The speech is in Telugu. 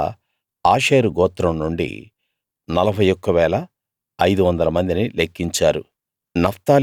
అలా ఆషేరు గోత్రం నుండి 41 500 మందిని లెక్కించారు